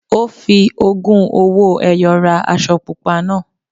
Ó fi ogún owó-ẹyọ ra aṣọ pupa náà.